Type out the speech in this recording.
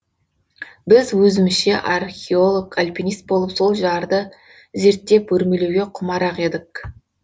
біз өзімізше археолог алпенист болып сол жарды зерттеп өрмелеуге құмарақ едік